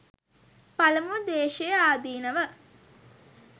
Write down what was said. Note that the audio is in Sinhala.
පළමුව ද්වේශයේ ආදීනව